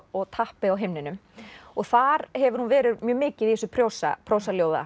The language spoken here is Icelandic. og tappi á himninum og þar hefur hún verið mjög mikið í þessu